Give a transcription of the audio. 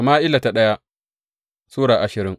daya Sama’ila Sura ashirin